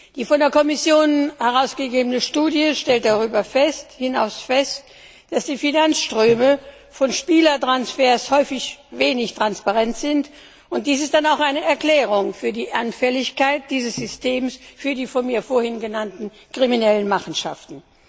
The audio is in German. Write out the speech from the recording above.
Die von der Kommission herausgegebene Studie stellt darüber hinaus fest, dass die Finanzströme von Spielertransfers häufig wenig transparent sind, und dies ist dann auch eine Erklärung für die Anfälligkeit dieses Systems für die von mir vorhin genannten kriminellen Machenschaften.